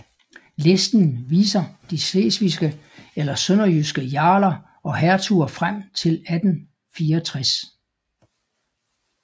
Listen viser de slesvigske eller sønderjyske jarler og hertuger frem til 1864